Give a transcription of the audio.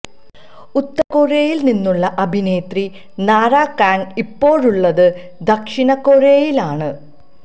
ഉത്തര കൊറിയയില് നിന്നുള്ള അഭിനേത്രി നാരാ കാംഗ് ഇപ്പോഴുള്ളത് ദക്ഷിണ കൊറിയയിലാണ്